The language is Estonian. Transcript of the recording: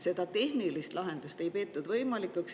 Seda tehnilist lahendust ei peetud võimalikuks.